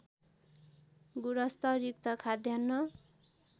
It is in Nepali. गुणस्तरयुक्त खाद्यान्न